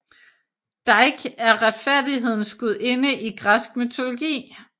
Dike er retfærdighedens gudinde i græsk mytologi